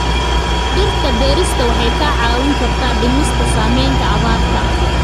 Dhirta beerista waxay kaa caawin kartaa dhimista saamaynta abaarta.